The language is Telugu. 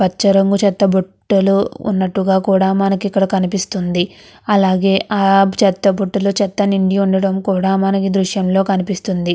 పచ్చ రంగు చెత్త బుట్టలు ఉన్నట్టుగా కూడా మనకి ఇక్కడ కనిపిస్తుంది. అలాగే ఆ చెత్త బుటలో చెత్త నినడి ఉండడం కూడా మనకు దోషంలో కనిపిస్తుంది.